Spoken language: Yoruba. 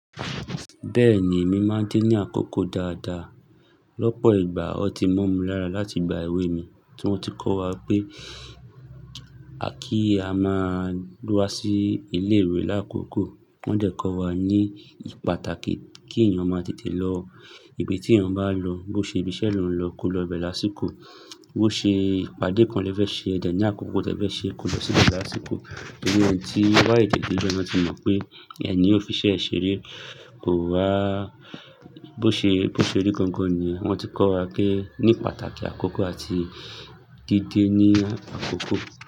Bẹ́ẹ̀ni, èmi máa ń dé ní àkókò dáadáa. Lọ́pọ̀ ìgbà, o ti mo mi lára láti gba ewé mi. Tí wọ́n ti kọ́ wa pé kí a máa wá sí ilé ìwé lákòókò. Wọ́n dẹ̀ kọ́ wa ní pàtàkì kí èèyàn máa tètè lọ ibi tí èèyàn bá lọ. Bó ṣe ibi iṣẹ́ lọ̀ ń lọ, kó lọ bẹ́ẹ̀ lásìkò. Bó ṣe ìpàdé kan lẹ́fẹ̀ ṣe, e dẹ̀ ní àkókò tí ẹ fe ṣe, kó lọ síbẹ̀ lásìkò. Tori eni tí o ba tete debe, wọ́n ti mọ̀ pé ẹ ni ó fi ṣẹ́ ṣeré. Kò wá, bó ṣe, bó ṣe rí gangan niyen. Wọ́n ti kọ́ wa pé ní pàtàkì àkókò àti dídé ní àkókò.